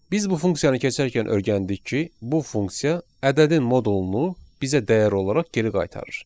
Biz bu funksiyanı keçərkən öyrəndik ki, bu funksiya ədədin modulunu bizə dəyər olaraq geri qaytarır.